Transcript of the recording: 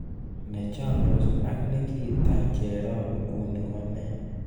Ne chomndos ak nikita cherop inguni konee